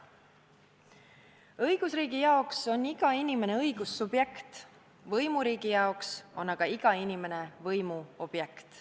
Õigusriigi jaoks on iga inimene õigussubjekt; võimuriigi jaoks on iga inimene võimu objekt.